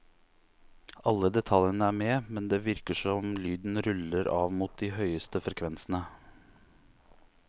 Alle detaljene er med, men det virker som lyden ruller av mot de høyeste frekvensene.